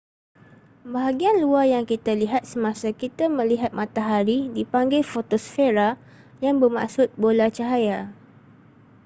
bahagian luar yang kita lihat semasa kita melihat matahari dipanggil fotosfera yang bermaksud bola cahaya